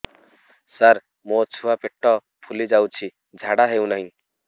ସାର ମୋ ଛୁଆ ପେଟ ଫୁଲି ଯାଉଛି ଝାଡ଼ା ହେଉନାହିଁ